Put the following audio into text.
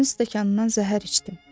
Sənin stəkanından zəhər içdim.